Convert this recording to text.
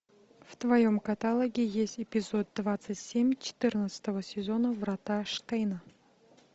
в твоем каталоге есть эпизод двадцать семь четырнадцатого сезона врата штейна